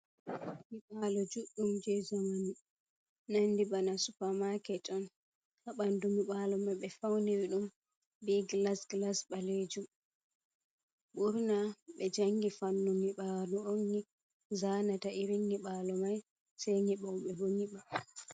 Nyibalo juddum je zamanu, nandi bana supermarket on ha bandu nyibalo mai, be fauniri dum be glass glass balejum burna be jangi fannu nyibalu on zanata irin nyiɓalo mai, sei nyibobe boh nyiba.